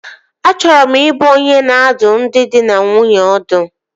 Achọrọ m ị bụ onye na-adụ ndị dị na nwunye ọdụ